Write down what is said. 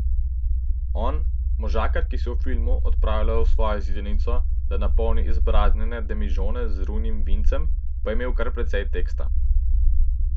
On, možakar, ki se v filmu odpravlja v svojo zidanico, da napolni izpraznjene demižone z rujnim vincem, pa je imel kar precej teksta.